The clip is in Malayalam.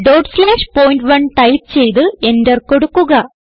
ഡോട്ട് സ്ലാഷ് പോയിന്റ്1 ടൈപ്പ് ചെയ്ത് എന്റർ കൊടുക്കുക